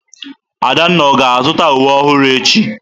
Adanna ọ ga-azụta uwe ọhụrụ echi?